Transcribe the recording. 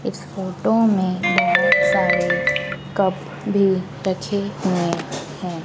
इस फोटो में बहोत सारे कप भी रखे हुए हैं।